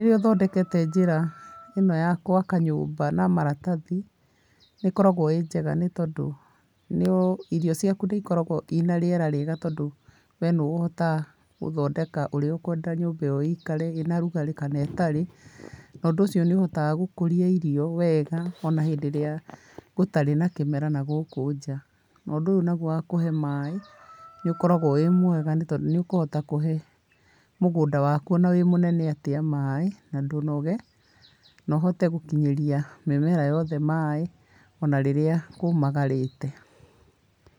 Rirĩa ũthondekete njĩra ĩno ya gũaka nyũmba na maratathi, nĩ ĩkoragwo ĩ njega nĩ tondũ, irio ciaku nĩ ĩkoragwo ĩna rĩera rĩega tondũ we nĩ we ũhotaga ũthondeka ũrĩa ũkwenda nyũmba ĩyo ĩikare, ĩna ũrugari kana ĩtarĩ. Na ũndũ ũcio nĩ ĩhotaga gũkũria irio wega, ona hĩndĩ ĩria gũtarĩ na kĩmera na gũkũ nja. Na ũndũ ũyũ naguo wa kuhe maaĩ, nĩ ũkoragwo wĩ mwega nĩ tondũ nĩ ũkũhota kũhe mũgũnda waku o na wĩ mũnene atĩa maaĩ, na ndũnoge, na ũhote gũkinyĩria mĩmera yothe maaĩ ona rĩrĩa kũũmagarĩte.